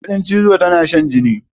Kuɗin cizo tana shan jini.